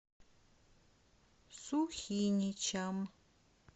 сухиничам